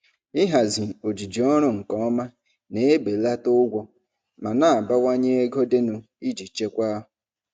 Ịhazi ojiji ọrụ nke ọma na-ebelata ụgwọ ma na-abawanye ego dịnụ iji chekwaa.